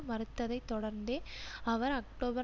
மறுத்ததை தொடர்ந்தே அவர் அக்டோபர்